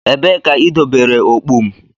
Ebee ka idobere okpu m?